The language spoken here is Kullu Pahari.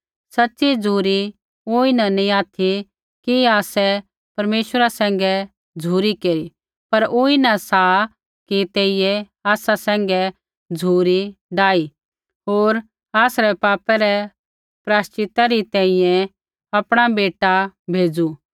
सच़ी झ़ुरी ऊँई न नैंई ऑथि कि आसै परमेश्वरा सैंघै झ़ुरी केरी पर ऊँई न सा कि तेइयै आसा सैंघै झ़ुरी डाही होर आसरै पापै रै प्रायश्चितै री तैंईंयैं आपणा बेटा भेज़ू